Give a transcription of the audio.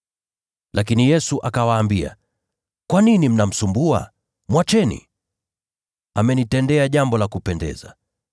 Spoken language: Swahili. Lakini Yesu akawaambia, “Mbona mnamsumbua huyu mwanamke? Mwacheni! Yeye amenitendea jambo zuri sana.